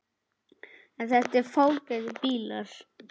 Eru þetta fágætir bílar?